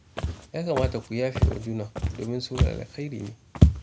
Ya kamata ku yafe wa juna domin sulhu alkhairi ne